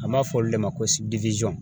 An b'a fɔ olu de ma ko